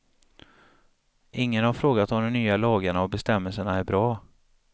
Ingen har frågat om de nya lagarna och bestämmelserna är bra.